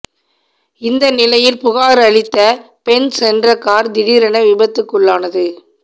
இந்த நிலையில் புகார் அளித்த பெண் சென்ற கார் திடீரென விபத்துக்குள்ளானது